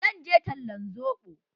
Zan je talan soɓo.